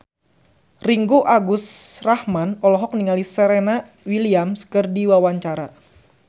Ringgo Agus Rahman olohok ningali Serena Williams keur diwawancara